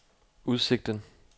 udsigten